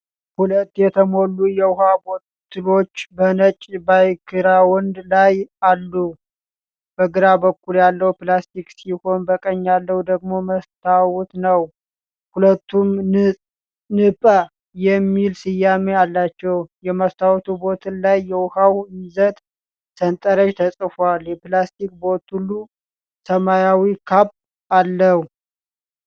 ሁለት የተሞሉ የውኃ ቦትሎች በነጭ ባክግራውንድ ላይ አሉ። በግራ በኩል ያለው ፕላስቲክ ሲሆን፣ በቀኝ ያለው ደግሞ መስታወት ነው። ሁለቱም "ን-ጰ" የሚል ስያሜ አላቸው። የመስታወቱ ቦትል ላይ የውኃው ይዘት ሰንጠረዥ ተፅፎአል። የፕላስቲክ ቦትሉ* ሰማያዊ ካፕ አለው።